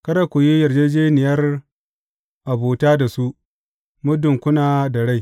Kada ku yi yarjejjeniyar abuta da su, muddin kuna da rai.